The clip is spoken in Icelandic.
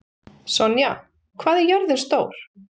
Sonja, hvað er jörðin stór?